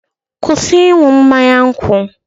kwụsị ịṅụ mmanya nkwụ!